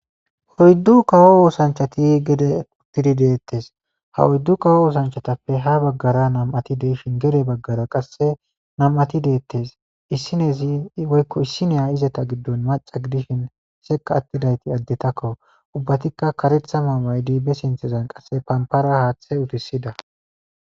oyddu kawo osanchati gede uttidi deettes ha oyddu kawo oosanchatappe ha baggara nam7ati deishin gere baggara qasse nam7ati deettes issinezi woykko issiniya izeta giddon maca gidishin seka attidayti addetakko ubbatikka karetha mayo maaydi be sinthezan qasse pampara haaththe utisida.